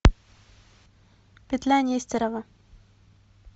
петля нестерова